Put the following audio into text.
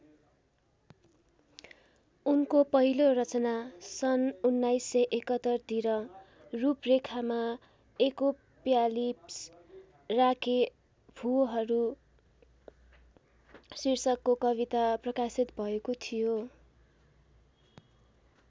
उनको पहिलो रचना सन् १९७१ तिर रूपरेखामा एकोप्यालिप्स राँके भूहरू शीर्षकको कविता प्रकाशित भएको थियो।